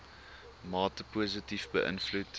mate positief beïnvloed